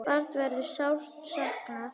Braga verður sárt saknað.